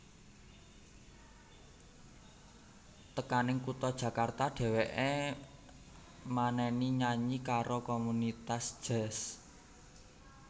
Tekaning kutha Jakarta dheweké maneni nyanyi karo komunitas jazz